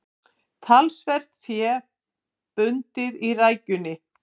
Talsvert fé bundið í rækjunni